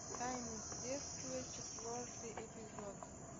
тайны следствия четвертый эпизод